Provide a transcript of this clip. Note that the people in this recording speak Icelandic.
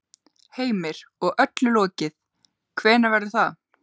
Heimir: Og öllu lokið, hvenær verður það?